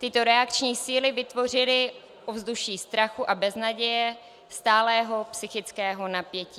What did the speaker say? Tyto reakční síly vytvořily ovzduší strachu a beznaděje, stálého psychického napětí.